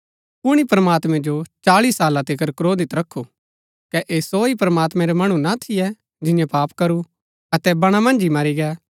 कुणी प्रमात्मैं जो चाळी साला तिकर क्रोधित रखु कै ऐह सो ही प्रमात्मैं रै मणु ना थियै जिन्यैं पाप करू अतै बणा मन्ज ही मरी गै